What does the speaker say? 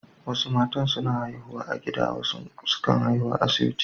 Wasu matan suna haihuwa a gida wasu kuma sukan haihu a asibiti.